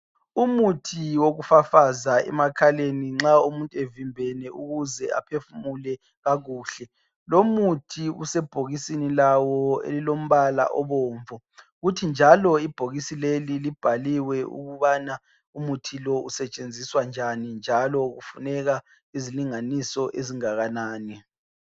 Umuthi wokufafaza emakhaleni nxa umuntu evimbeme ukuze aphefumule kakuhle. Lomuthi usebhokisini lawo olombala obomvu. Kuthi njalo ibhokisi leli libhaliwe ukubana umuthi lo usetshenziswa njani njalo kufuneka izilinganiso ezingakanani.